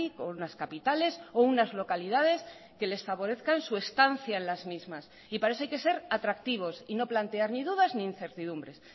con unas capitales o unas localidades que les favorezcan su estancia en las mismas y para eso hay que ser atractivos y no plantear ni dudas ni incertidumbres